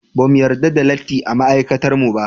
Ba mu yarda da latti a ma'aikatarmu ba.